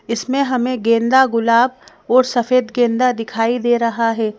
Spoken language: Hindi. इसमें हमें गेंदा गुलाब और सफेद गेंदा दिखाई दे रहा है।